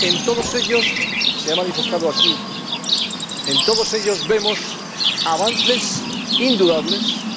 En todos ellos, se ha manifestado aquí, vemos avances indudables